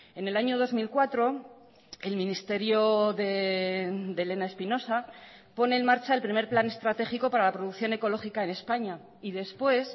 en el año dos mil cuatro el ministerio de elena espinosa pone en marcha el primer plan estratégico para la producción ecológica en españa y después